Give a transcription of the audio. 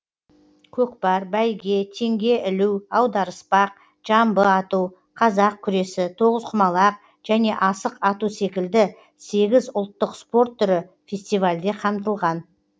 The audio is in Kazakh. көкпар бәйге теңге ілу аударыспақ жамбы ату қазақ күресі тоғызқұмалақ және асық ату секілді сегіз ұлттық спорт түрі фестивальде қамтылған